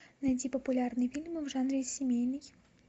найди популярные фильмы в жанре семейный